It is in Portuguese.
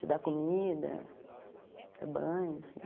De dar comida, dar banho, assim.